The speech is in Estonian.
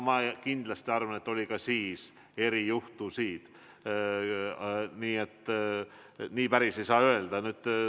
Ma kindlasti arvan, et oli ka siis erijuhtusid, nii et nii päris ei saa öelda.